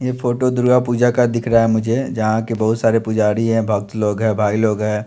ये फोटो दुर्गा पूजा का दिख रहा है मुझे जहां के बहुत सारे पुजारी हैं भक्त लोग हैं भाई लोग हैं।